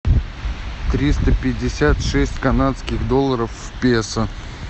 триста пятьдесят шесть канадских долларов в песо